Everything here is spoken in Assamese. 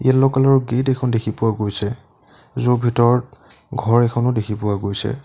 লোকসকলৰ গেট এখন দেখি পোৱা গৈছে য'ৰ ভিতৰত ঘৰ এখনো দেখি পোৱা গৈছে।